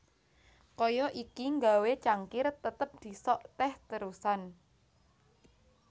Kaya iki nggawé cangkir tetep disok teh terusan